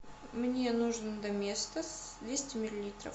мне нужен доместос двести миллилитров